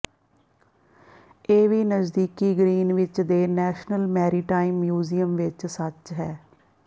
ਇਹ ਵੀ ਨਜ਼ਦੀਕੀ ਗਰੀਨਵਿੱਚ ਦੇ ਨੈਸ਼ਨਲ ਮੈਰੀਟਾਈਮ ਮਿਊਜ਼ੀਅਮ ਵਿਚ ਸੱਚ ਹੈ